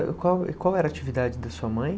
E qual qual era a atividade da sua mãe?